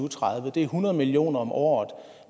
tredive det er hundrede million kroner om året